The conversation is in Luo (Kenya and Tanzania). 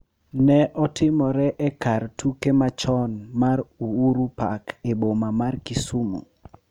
Ne otimre e kar tuke machon mar Uhuru Park e boma mar Kisumu,